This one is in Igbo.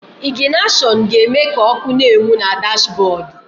Ịgịnashọnụ ga-eme ka ọ́kụ́ na-enwu na dashbọọdụ.